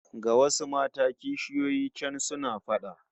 Ga wasu mata kishiyoyi can suna fada